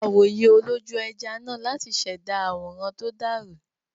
Lo awòye olójú-ẹja náà láti ṣẹ̀dá àwòrán tó dàrú.